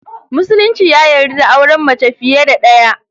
Musulunci ya yarda da auren mace fiye da daya.